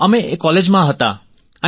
હાજી અમે કોલેજમાં જ હતા